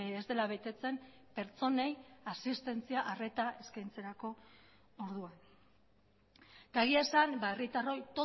ez dela betetzen pertsonei asistentzia arreta eskaintzarako orduan eta egia esan herritarroi